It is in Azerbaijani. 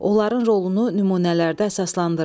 Onların rolunu nümunələrdə əsaslandırın.